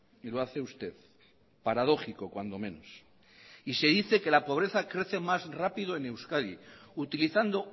y lo hace usted paradójico cuando menos y se dice que la pobreza crece más rápido en euskadi utilizando